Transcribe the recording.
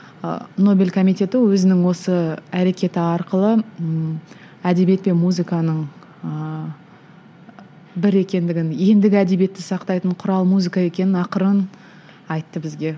ы нобель комитеті өзінің осы әрекеті арқылы ммм әдебиет пен музыканың ыыы бір екендігін ендігі әдебиетті сақтайтын құрал музыка екенін ақырын айтты бізге